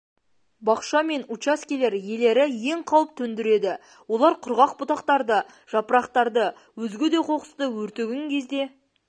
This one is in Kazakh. бақша мен учаскелер иелері ең қауіп төндіреді олар құрғақ бұтақтарды жапырақтарды өзге де қоқысты өртеген кезде